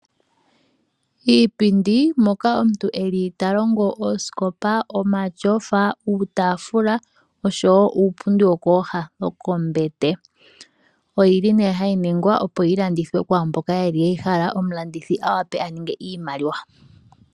Iipindi Moka omuntu ta longo oosikopa, omatyofa, uutaafula oshowo uupundi wokooha dhombete. Ohayi ningwa, opo yi landithwe kwaa ngoka e yi hala, omulandithi a wape a ninge iimaliwa.